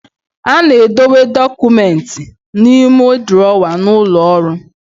A na-edobe dọkụmenti n'ime drọwa n'ụlọ ọrụ.